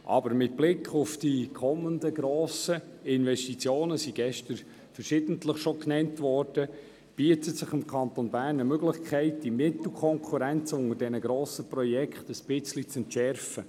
Aber mit Blick auf die kommenden grossen Investitionen bietet sich dem Kanton Bern eine Möglichkeit, die Mittelkonkurrenz unter den grossen Projekten ein wenig zu entschärfen.